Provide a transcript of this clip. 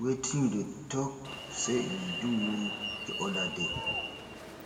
wetin you dey talk say e do you di other day